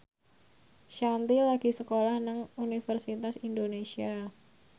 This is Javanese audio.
Shanti lagi sekolah nang Universitas Indonesia